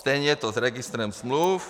Stejně je to s registrem smluv.